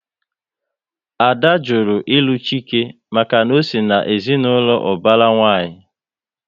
Ada jụrụ ilu Chike maka na ọ sị na ezinaụlọ ubara nwanyi